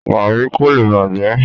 Garri ko le bajẹ.